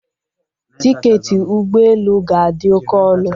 Tiketi ụgbọ elu ga-adị oke ọnụ